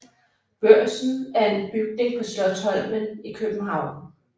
Børsen er en bygning på Slotsholmen i København